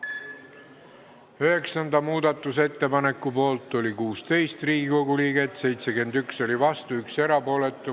Hääletustulemused Üheksanda muudatusettepaneku poolt oli 16 ja vastu 71 Riigikogu liiget, 1 oli erapooletu.